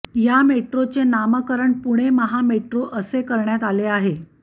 या मेट्रोचे नामकरण पुणे महामेट्रो असे करण्यात आले आहे